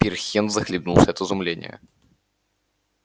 пирхен захлебнулся от изумления